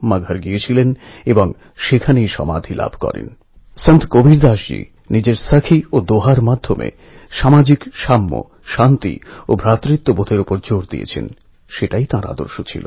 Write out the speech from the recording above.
আমার প্রিয় দেশবাসী কয়েক দিন আগে একটি খবর আমার চোখে পড়লো যাতে লেখা ছিল মোদীর স্বপ্ন সফল করলেন দুই যুবক